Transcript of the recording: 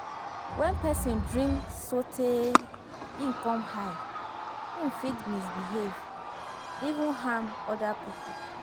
When person drink sotey im come high, im fit misbehave, even harm oda pipo